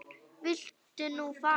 Viltu nú fara!